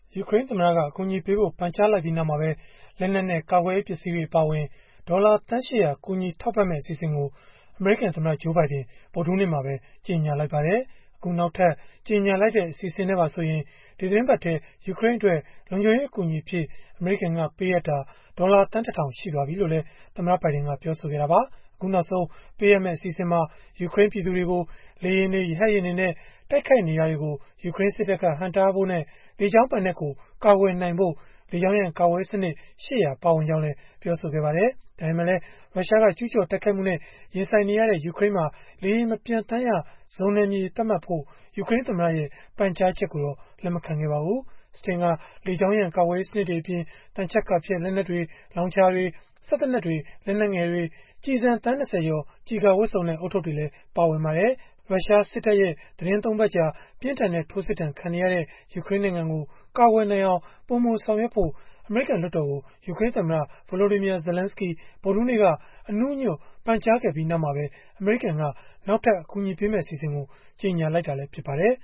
ယူကရိန်းသမ္မတက အကူအညီပေးဖို့ ပန်ကြားလိုက်ပြီးနောက်မှာပဲ လက်နက်နဲ့ ကာကွယ်ရေးပစ္စည်းတွေ အပါအဝင် ဒေါ်လာသန်း ၈ဝဝ ကူညီထောက်ပံ့မယ့် အစီအစဉ်ကို အမေရိကန်သမ္မတ Joe Biden က ဗုဒ္ဓဟူးနေ့မှာပဲ ကြေညာလိုက်ပါတယ်။ အခုနောက်ထပ် ကြေညာလိုက်တဲ့ အစီအစဉ်နဲ့ပါဆိုရင် ဒီသီတင်းပတ်အတွင်း ယူကရိန်းအတွက် လုံခြုံရေးအကူအညီအဖြစ် အမေရိကန်က ပေးအပ်တာ ဒေါ်လာသန်း ၁ ထောင် ရှိသွားပြီလို့လည်း သမ္မတဘိုင်ဒင်က ပြောဆိုခဲ့တာပါ။ အခုနောက်ဆုံး ပေးအပ်မယ့် အစီအစဉ်မှာ ယူကရိန်း ပြည်သူတွေကို လေယာဉ်တွေ၊ ရဟတ်ယာဉ်တွေနဲ့ တိုက်ခိုက်နေတာတွေကို ယူကရိန်းစစ်တပ်က ဟန့်တားဖို့နဲ့ လေကြောင်းပိုင်နက်ကို ကာကွယ်နိုင်ဖို့ လေကြောင်းရန် ကာကွယ်ရေးစနစ် ၈၀၀ ပါဝင်ကြောင်းလည်း ပြောပါတယ်။ ဒါပေမဲ့လည်း ရုရှားက ကျုးကျော်တိုက်ခိုက်မှုနဲ့ ရင်ဆိုင်နေရတဲ့ ယူကရိန်းမှာ လေယာဉ်မပျံသန်းရ ဇုန်နယ်မြေ သတ်မှတ်ဖို့ ယူကရိန်းသမ္မတရဲ့ ပန်ကြားချက်ကိုတော့ လက်မခံခဲ့ပါဘူး။ Stinger လေကြောင်းရန် ကာကွယ်ရေးစနစ်တွေအပြင် သံချပ်ကာဖျက် လက်နက်တွေ၊ လောင်ချာတွေ၊ စက်သေနတ်တွေ၊ လက်နက်ငယ်တွေ ကျည် သန်း ၂၀ ကျော်၊ ကျည်ကာဝတ်စုံနဲ့ ဦးထုပ်တွေလည်း ပါဝင်ပါတယ်။ ရုရှားစစ်တပ်ရဲ့ သီတင်း ၃ ပတ်ကြာ ပြင်းထန်တဲ့ ထိုးစစ်ဒဏ်ခံနေရတဲ့ ယူကရိန်းနိုင်ငံကို ကာကွယ်နိုင်အောင် ပိုမိုဆောင်ရွက်ဖို့ အမေရိကန် လွှတ်တော်ကို ယူကရိန်းသမ္မတ Volodymyr Zelenskyy ဗုဒ္ဓဟူးနေ့က အနူးအညွတ်ပန်ကြားခဲ့ပြီး နောက်မှာပဲ အမေရိကန်က နောက်ထပ် အကူအညီပေးမယ့် အစီအစဉ်ကို ကြေညာလိုက်တာလည်း ဖြစ်ပါတယ်